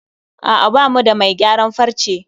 A'a bamu da mai gayaran farce